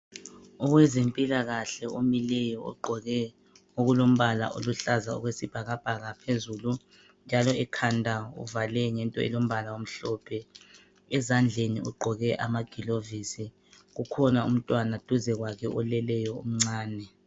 Owezempilakahle omileyo ogqoke okulombala oluhlaza okwesibhakabhaka phezulu njalo ekhanda uvale ngento elombala omhlophe, ezandleni ugqoke amagilovisi kukhona umntwana duze kwakhe oleleyo omncane.